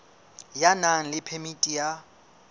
ya nang le phemiti ya